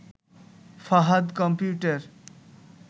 Fahad computer